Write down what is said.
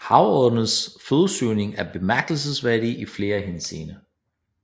Havodderens fødesøgning er bemærkelsesværdig i flere henseender